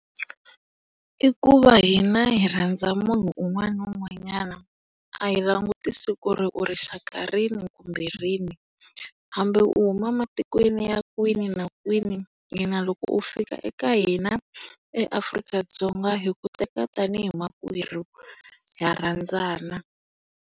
I ku va hina hi rhandza munhu un'wana na un'wanyana. A hi langutisi ku ri u rixaka rini kumbe rini, hambi u huma matikweni ya kwini na kwini, hina loko u fika eka hina eAfrik-Dzonga hi ku teka tanihi makwerhu. Ha rhandzana.